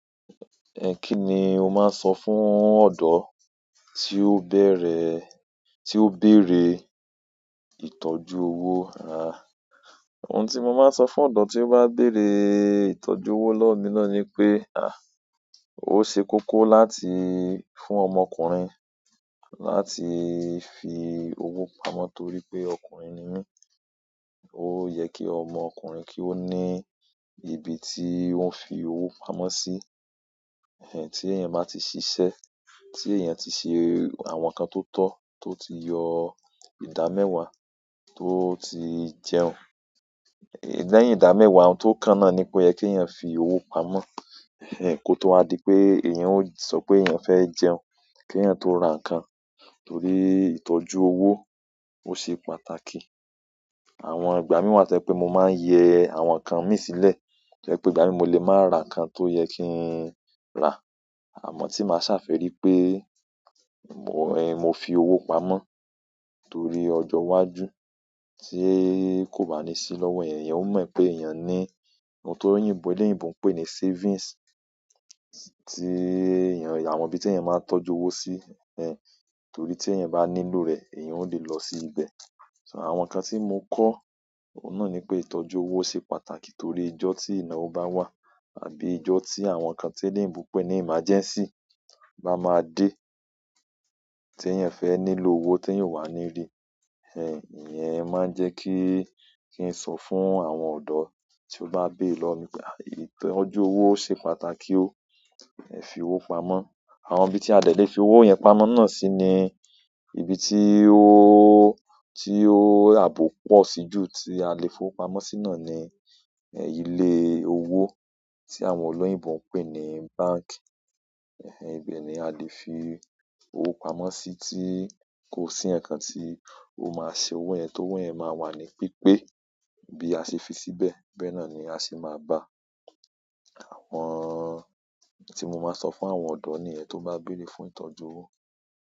Ẹ̀ kíni o máa sọ fún ọ̀dọ́ tí ó bẹ̀rẹ̀, tí ó bérè ìtọ́jú owó a? Ohun tí mo máa ń so fún ọ̀dọ́ tí ó bá bèrè ìtọ́jú owó lọ́wọ́ mi náà ni wípé a, ó se kókó láti fún ọmọkùnrin láti fi owó pamọ́ torípé ọkùnrin ni mí. Ó yẹ kí ọmọkùnrin kí ó ní ibi tí ó ń fi owó pamọ́ sí. Ẹhn ẹhn, tí èèyàn máa ti ṣiṣẹ́, tí èèyàn ti ṣe àwọn nǹkan tó tọ́, tó ti yọ ìdámẹ́wàá tó ti jẹun. Lẹ́yìn ìdámẹ́wàá, ohun tó kànnà ni pé yẹ kí èèyàn fi owó pamọ́. Ẹ̀ kó tó wá di pé èèyàn ó sọ pé èèyàn fẹ́ jẹun, kí èèyàn tó ra nǹkan torí ìtọ́jú owó ó ṣe pàtàkì. Àwọn ìgbà mí wà tó jẹ́ pé mo máa ń yẹ àwọn nǹkan mi sílẹ̀. Tó jẹ́pé ìgbà mìí mo lè máa ra nǹkan tó yẹ kí n ra. Àmọ́ tí màá ṣàfẹ́rí pé mọ̀, ẹ, mo fi owó pamọ́ torí ọjọ́ iwájú tí kò bá ní sí lọ́wọ́ èèyàn, èèyàn ó mọ̀ pé èèyàn ní ohun tó oníòyìnbó ń pè ní savings tí èèyàn, àwọn ibi tí èèyàn máa ń tọ́jú owó sí. Ẹ̀hẹ̀, torí tí èèyàn bá nílò rẹ̀, èèyàn ó lè lọ sí ibẹ̀. So àwọn nǹkan tí mo kọ́, ohun náà ni pé ìtọ́jú owó ṣe pàtàkì torí ijọ́ tí ìnáwó bá wà àbí ijọ́ tí àwọn nǹkan tí oní òyìnbó ń pè ní emergency bá máa dé tí èèyàn fẹ́ nílò owó tí èèyàn ò wà níri. Ẹ̀ hẹ̀, ìyẹn máa ń jẹ́ kí, kí n sọ fún àwọn ọ̀dọ́ tí ó bá bérè lọ́wọ́ mi pé, ìtọ́jú owó ó ṣe pàtàkì ó. Ẹ fi owó pamọ́. Àwọn ibi tí a dẹ̀ fi owó yẹn pamọ́ náà sí ni ibi tí owó, tí ó àbọ̀ pọ̀ sí jù tí a lè fi owó pamọ́ síná ni, ẹ, ilé owó tí àwọn olóyìnbo ń pè ní bank. Ẹ̀ hẹ̀, ibẹ̀ ni a lè fi owó pamọ́ sí tí kò sí nǹkan tí ó máa ṣe owó yẹn tó owó yẹn máa wà ní pípé. Bí a ṣe fi síbẹ̀, bẹ́ẹ̀ náà ni a ṣe máa bàa. Àwọn tí mo máa sọ fún àwọn ọ̀dọ́ nìyẹn tó bá bérè fún ìtọ́jú owó.